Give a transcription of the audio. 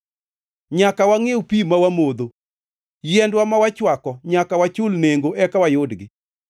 Nyaka wangʼiew pi mawamodho; yiendwa ma wachwako nyaka wachul nengo eka wayudgi.